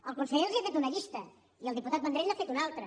el conseller els ha fet una llista i el diputat vendrell n’ha fet una altra